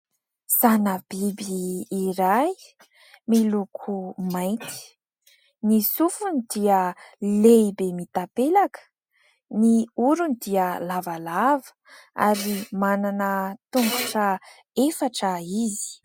Sarina biby iray miloko maity, ny sofony dia lehibe mitapelaka, ny orony dia lavalava, ary manana tongotra efatra izy.